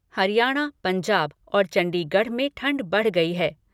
हरियाणा, पंजाब और चंडीगढ़ में ठंड बढ़ गई है।